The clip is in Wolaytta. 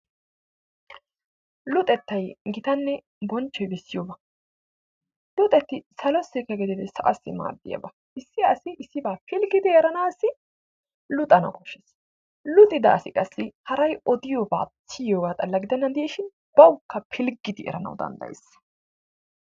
Luxetay gitanne bonchoy bessiyobba . Luxeti salossi gidin sa'assi maadiyaba. lssi asi eranaaasii luxana koshees. Luxida asi qassi haray odiyogga siyogga xalla gidenanidishn bawkka pilgidi erana dandayees.